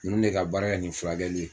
Ninnu de ka baara kɛ nin furakɛli ye